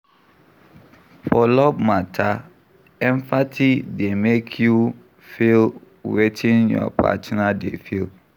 For love matter, empathy go make you feel wetin your partner dey feel